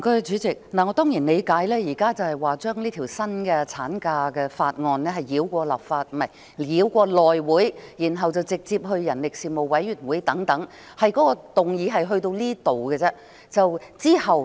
主席，我當然理解現時討論的是把這項《條例草案》繞過內會，然後直接交付人力事務委員會等，議案內容只此而已。